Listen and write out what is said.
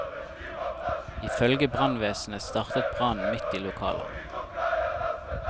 I følge brannvesenet startet brannen midt i lokalet.